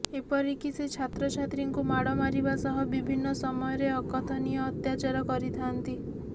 ଏପରିକି ସେ ଛାତ୍ରୀଛାତ୍ରଙ୍କୁ ମାଡ଼ ମାରିବା ସହ ବିଭିନ୍ନ ସମୟରେ ଅକଥନୀୟ ଅତ୍ୟାଚାର କରିଥାନ୍ତି